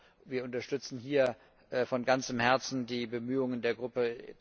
Also, wir unterstützen hier von ganzem Herzen die Bemühungen der Gruppe